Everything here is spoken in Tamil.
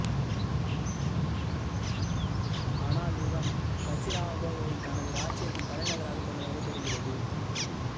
ஆனால் இவன் கஜுராஹோவை தனது இராச்சியத்தின் தலைநகராகக் கொண்டதாகத் தெரிகிறது